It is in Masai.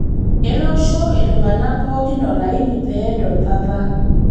etoosho iltung'anak pooki olaini pee edol papa